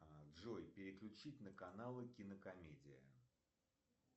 джой переключить на каналы кинокомедия